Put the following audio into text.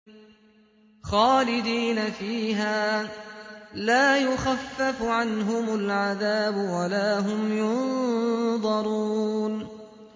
خَالِدِينَ فِيهَا ۖ لَا يُخَفَّفُ عَنْهُمُ الْعَذَابُ وَلَا هُمْ يُنظَرُونَ